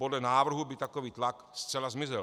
Podle návrhu by takový tlak zcela zmizel.